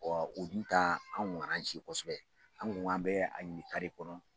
Ɔ o dun tan anw kosɛbɛ anw ka k'an b'a ɲini de kɔnɔ